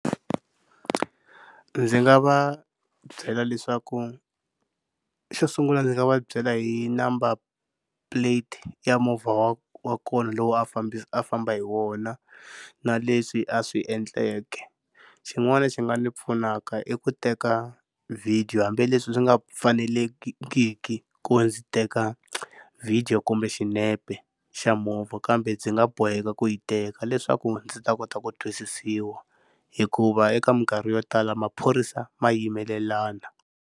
Ndzi nga va byela leswaku xo sungula ndzi nga va byela hi number plate ya movha wa wa kona lowu a fambisa a famba hi wona, na leswi a swi endleke. Xin'wana xi nga ndzi pfunaka i ku teka vhidiyo hambileswi swi nga fanelekiki ku ndzi teka vhidiyo kumbe xinepe xa movha kambe ndzi nga boheka ku yi teka leswaku ndzi ta kota ku twisisiwa hikuva eka minkarhi yo tala maphorisa ma yimelelana.